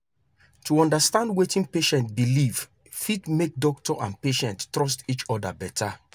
to understand wetin patient believe fit make doctor and patient trust each other better.